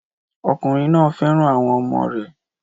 Ọkùnrin náà fẹ́ràn àwọn ọmọ rẹ̀